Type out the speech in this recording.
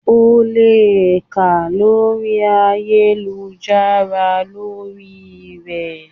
O lè kà lórí ayélujára lórí rẹ̀.